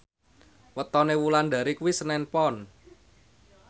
wetone Wulandari kuwi senen Pon